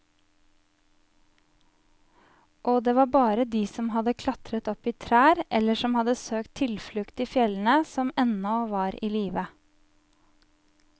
Og det var bare de som hadde klatret opp i trær eller som hadde søkt tilflukt i fjellene, som ennå var i live.